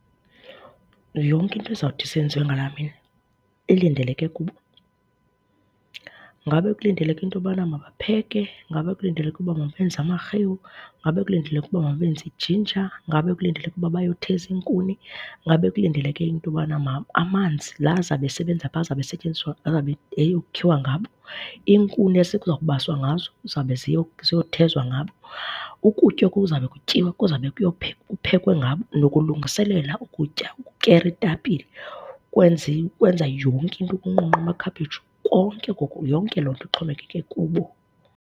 Yonke into izawuthi isenziwe ngalaa mini ilindeleke kubo. Ngabe kulindeleke into yobana mabapheke, ngaba kulindeleke uba mabenza amarhewu, ngabe kulindeleke uba mabenze ijinja, ngabe kulindeleke uba bayotheza iinkuni. Ngabe kulindeleke into yobana amanzi la azawube esebenza phaa, azawube esetyenziswa, azawube eyokhiwa ngabo. Iinkuni ezi kuzawubaswa ngazo zizawube ziyothezwa ngabo. Ukutya okuza kube kutyiwa, kuza kube kuphekwe ngabo. Nokulungisilela ukutya ukukera iitapile ukwenza ukwenza yonke into, ukunqunqa amakhephetshu, konke oko yonke loo nto ixhomekeke kubo.